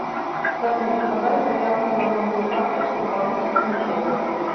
салют подай заявку на новую карточку в банке тинькофф